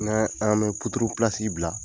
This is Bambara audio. N'an an bɛ bila,